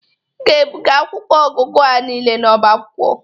Ị ga-ebụga akwụkwọ ọgụgụ a niile n'ọba akwụkwọ.